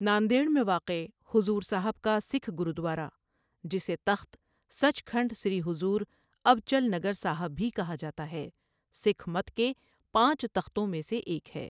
ناندیڑ میں واقع، حضور صاحب کا سکھ گرودوارہ، جسے تخت سچکھنڈ سری حضور ابچل نگر صاحب بھی کہا جاتا ہے، سکھ مت کے پانچ تختوں میں سے ایک ہے۔